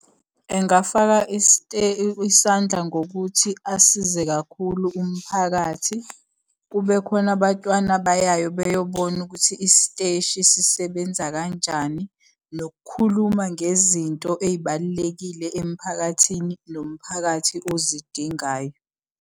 Engafaka isandla ngokuthi asize kakhulu umphakathi. Kube khona abatwana abayayo beyobona ukuthi isiteshi sisebenza kanjani, nokukhuluma ngezinto ey'balulekile emphakathini, nomphakathi ozidingayo.